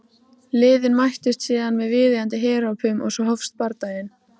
Liðin mættust síðan með viðeigandi herópum og svo hófst bardaginn.